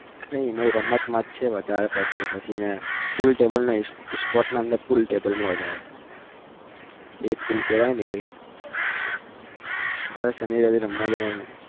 કઈ નહિ રમતમાં જ છે વધારે પડતી તો પછી પુલ ટેબલ કેવાય ને sports અંદર પુલ ટેબલ માં વધારે એટ પુલ કેવાય ને હવ સની રવિ રમવા જવાનું